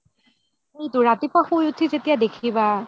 সেইয়েটো ৰাতিপুৱা খুই উথি যেতিয়া দেখিবা